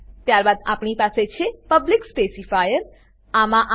ત્યારબાદ આપણી પાસે છે પબ્લિક સ્પેસિફાયર પબ્લિક સ્પેસીફાયર